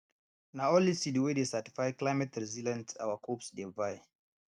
na only seeds wey dey certified cliemateresilient our coops dey buy